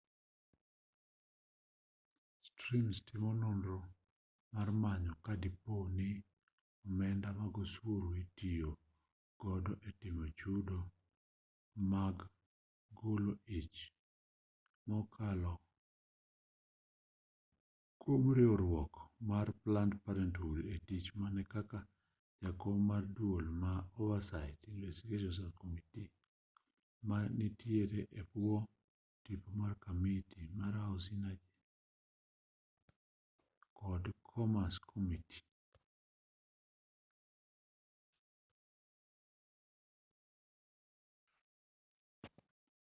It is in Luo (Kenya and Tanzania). stearns timo nonro mar manyo ka dipo ni omenda mag osuru itiyo godo e timo chudo mag golo ich kokalo kwom riwruok mar planned parenthood e tich mare kaka jakom mar duol mar oversight and investigations subcommittee ma nitiere e bwo tipo mar kamiti mar house energy to kod commerce committee